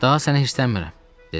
Daha sənə hirslənmirəm, dedi.